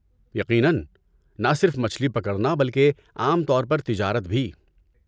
یقیناً! نہ صرف مچھلی پکڑنا بلکہ عام طور پر تجارت بھی۔